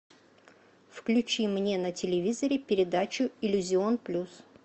включи мне на телевизоре передачу иллюзион плюс